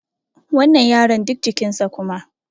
wannan yaron duk jikinsa kuma